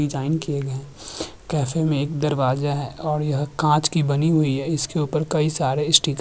design किये गए हैं केफे मे एक दरवाजा है और यह कांच की बनी हुई है इसके ऊपर कई सारे स्टीकर --